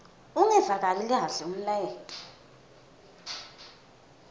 ungevakali kahle umlayeto